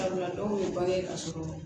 Sabula dɔw ye bange ka sɔrɔ